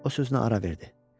O sözünə ara verdi.